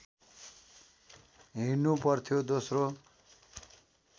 हिँडनु पर्थ्यो दोस्रो